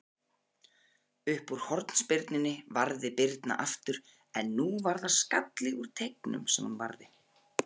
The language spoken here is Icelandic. Uppúr hornspyrnunni varði Birna aftur, en nú var það skalli úr teignum sem hún varði.